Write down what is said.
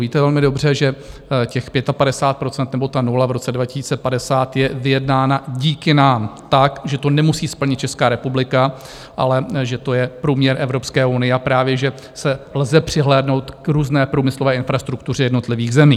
Víte velmi dobře, že těch 55 % nebo ta 0 v roce 2050 je vyjednána díky nám tak, že to nemusí splnit Česká republika, ale že to je průměr Evropské unie, a právě že lze přihlédnout k různé průmyslové infrastruktuře jednotlivých zemí.